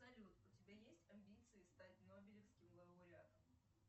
салют у тебя есть амбиции стать нобелевским лауреатом